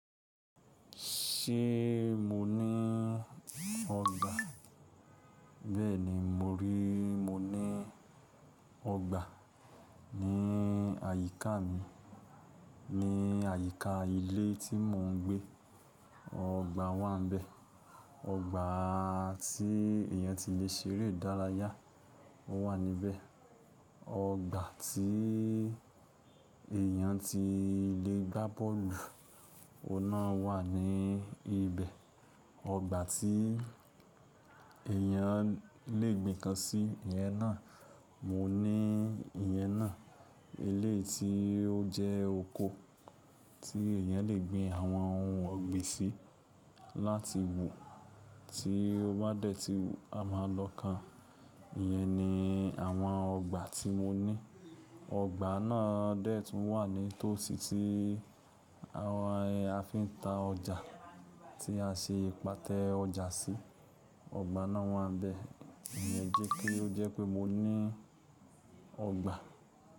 Ṣé mo ní ọgbà? Bẹ́ẹ̀ni, mo rí i, mo ní ọgbà ní àyíká mi. Ní àyíká ilé tí mò ń gbé. Ọgbà wà níbẹ̀. Ọgbà tí èyàn ti lè ṣe eré ìdárayá, ó wà níbẹ̀. Ọgbà tí èèyàn ti lè gbá bọ́ọ̀lù, ọ̀un nà wà ní ibẹ̀. Ọgbà tí eèyàn le gbìn nǹkan sí, ìyẹn náà, mo ní ìyẹn náà. Eleyii tí ó jẹ́ oko tí èèyàn le gbin àwọn ohun ọ̀gbìn sí láti wù, tí ó bá dẹ̀ tí wù, a máa lọ ká. Ìyẹn ni àwọn ọgbà tí mo ní. Ọgbà náà dẹ̀ tún wà ní tòsí tí àwọn ẹ, a fi ń ta ọjà, tí a ṣe pátẹ́ ọjà sí. Ọgbà náà wà níbẹ̀. Ìyẹn jẹ́ pé ó jẹ́ pé mo ní ọgbà.